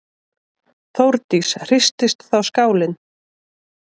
Þórdís: Hristist þá skálinn?